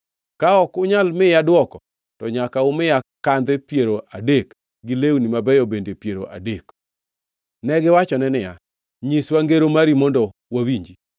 Ka ok unyal miya dwoko, to nyaka umiya kandhe piero adek gi lewni mabeyo bende piero adek. Negiwachone niya, “Nyiswa ngero mari mondo wawinji.”